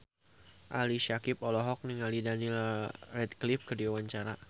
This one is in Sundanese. Ali Syakieb olohok ningali Daniel Radcliffe keur diwawancara